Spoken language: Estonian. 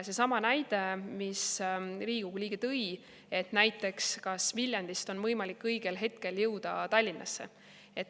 Seesama näide, mis Riigikogu liige tõi, et kas näiteks Viljandist on võimalik õigel hetkel jõuda Tallinna.